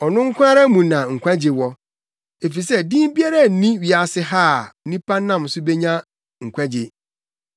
Ɔno nko ara mu na nkwagye wɔ; efisɛ din biara nni wiase ha a nnipa nam so benya nkwagye.”